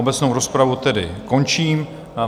Obecnou rozpravu tedy končím.